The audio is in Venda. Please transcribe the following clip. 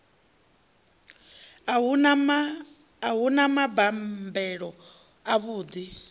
a hu na mabambelo avhuḓi